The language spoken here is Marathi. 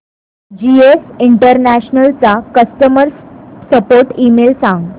जीएस इंटरनॅशनल चा कस्टमर सपोर्ट ईमेल सांग